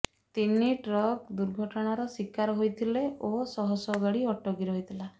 ତିନି ଟ୍ରକ ଦୁର୍ଘଟଣାର ଶିକାର ହୋଇଥିଲେ ଓ ଶହଶହ ଗାଡ଼ି ଅଟକି ରହିଥିଲା